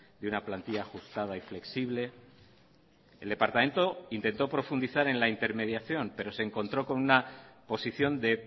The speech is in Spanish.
de una plantilla ajustada y flexible el departamento intentó profundizar en la intermediación pero se encontró con una posición de